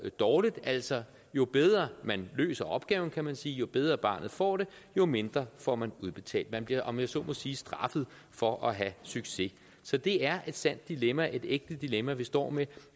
dårligt altså jo bedre man løser opgaven kan man sige jo bedre barnet får det jo mindre får man udbetalt man bliver om jeg så må sige straffet for at have succes så det er et sandt dilemma et ægte dilemma vi står med